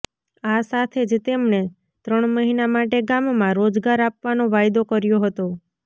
આ સાથે જ તેમણે ત્રણ મહિના માટે ગામમાં રોજગાર આપવાનો વાયદો કર્યો હતો